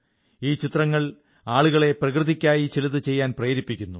ഈ ചിത്രങ്ങൾ ആളുകളെ പ്രകൃതിയ്ക്കായി ചിലതു ചെയ്യാൻ പ്രേരിപ്പിക്കുന്നു